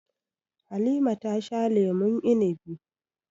Halima ta sha lemun inibi.